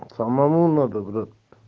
самому надо брат